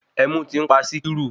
Ẹmu tí ń pa Sikiru.